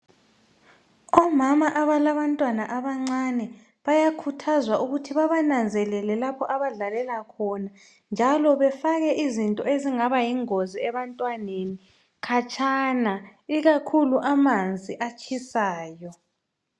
Omama abalabantwana abancane bayakhuthazwa ukuthi babananzelele lapho abadlalela khona njalo befake izinto ezingaba yingozi ebantwaneni khatshana ikakhulu amanzi atshisayo